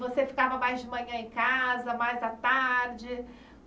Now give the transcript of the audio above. Você ficava mais de manhã em casa, mais à tarde?